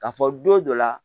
K'a fɔ don dɔ la